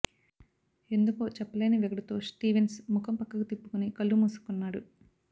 ఎందుకో చెప్పలేని వెగటుతో స్టీవెన్స్ ముఖం పక్కకు తిప్పుకుని కళ్ళు మూసుకున్నాడు